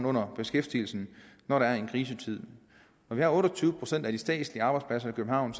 under beskæftigelsen når der er krisetid når vi har otte og tyve procent af de statslige arbejdspladser i københavn